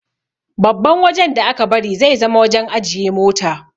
Babban wajan da aka bari zai zama wajan ajiye mota